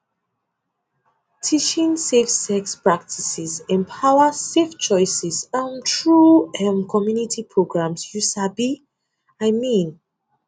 teaching safe sex practices empowers safe choices um through um community programs you sabi i um mean